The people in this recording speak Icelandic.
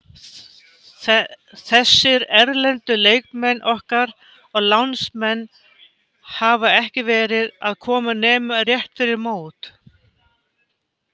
Þessir erlendu leikmenn okkar og lánsmenn hafa ekki verið að koma nema rétt fyrir mót.